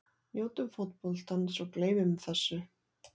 Njótum fótboltans og gleymum þessu.